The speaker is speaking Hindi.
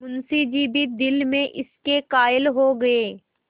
मुंशी जी भी दिल में इसके कायल हो गये